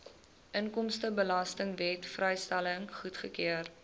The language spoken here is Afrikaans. inkomstebelastingwet vrystelling goedgekeur